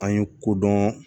An ye kodɔn